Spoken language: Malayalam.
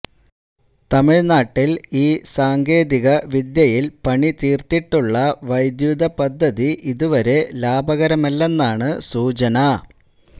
തമിഴ്നാട്ടിൽ ഈ സാങ്കേതിക വിദ്യയിൽ പണിതീർത്തിട്ടുള്ള വൈദ്യുത പദ്ധതി ഇതുവരെ ലാഭകരമല്ലെന്നാണ് സൂചന